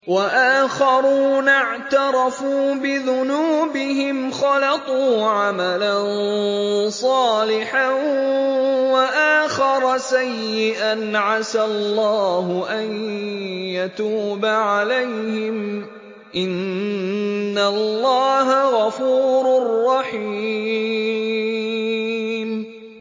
وَآخَرُونَ اعْتَرَفُوا بِذُنُوبِهِمْ خَلَطُوا عَمَلًا صَالِحًا وَآخَرَ سَيِّئًا عَسَى اللَّهُ أَن يَتُوبَ عَلَيْهِمْ ۚ إِنَّ اللَّهَ غَفُورٌ رَّحِيمٌ